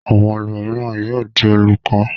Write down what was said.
Àwọn ẹlòmíràn yóò di olùkọ́.